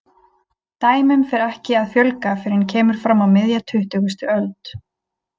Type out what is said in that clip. Dæmum fer ekki að fjölga fyrr en kemur fram á miðja tuttugustu öld.